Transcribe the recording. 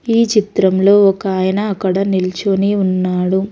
ఈ చిత్రంలో ఒకాయన అక్కడ నిల్చొని ఉన్నాడు.